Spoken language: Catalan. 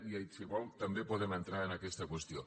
i si ho vol també podem entrar en aquesta qüestió